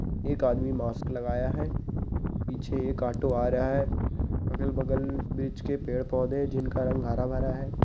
एक आदमी मास्क लगाया है पीछे एक ऑटो आ रहा है अगर-बगल बीच के पेड़ पौधे हैं जिन का रंग हरा भरा है।